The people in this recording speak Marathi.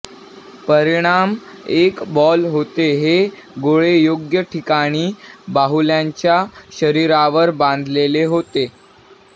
परिणाम एक बॉल होते हे गोळे योग्य ठिकाणी बाहुल्यांच्या शरीरावर बांधलेले होते